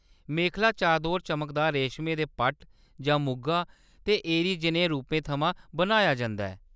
मेखला-चादोर चमकदार रेश्मै दे पट्ट जां मुगा ते एरी जनेहे रूपें थमां बनाया जंदा ऐ।